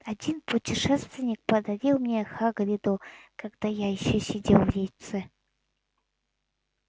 один путешественник подарил мне хагриду когда я ещё сидел в яйце